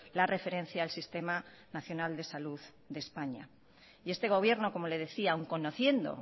la referencia al sistema nacional de salud de españa y este gobierno como le decía aun conociendo